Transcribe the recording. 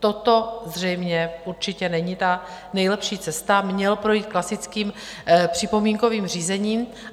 Toto zřejmě určitě není ta nejlepší cesta, měl projít klasickým připomínkovým řízením.